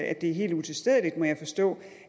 at det er helt utilstedeligt det må jeg forstå